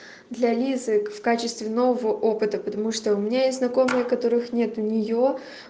для лизы в качестве нового опыта потому что у меня есть знакомые которых нет у нее